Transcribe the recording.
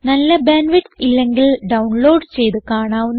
നല്ല bandwidth ഇല്ലെങ്കിൽ download ചെയ്ത് കാണാവുന്നതാണ്